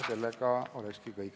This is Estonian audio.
See olekski kõik.